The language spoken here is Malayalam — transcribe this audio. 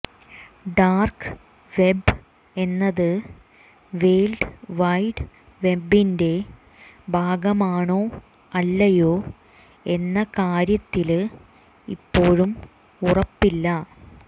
ഡാര്ക്ക് വെബ്ബ് എന്നത് വേള്ഡ് വൈഡ് വെബ്ബിന്റെ ഭാഗമാണോ അല്ലയോ എന്ന കാര്യത്തില് ഇപ്പോഴും ഉറപ്പില്ല